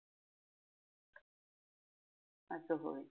असं होय.